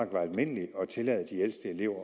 var almindeligt at tillade de ældste elever at